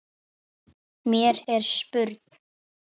Mér er spurn.